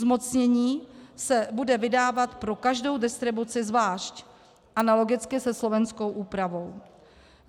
Zmocnění se bude vydávat pro každou distribuci zvlášť - analogicky se slovenskou úpravou.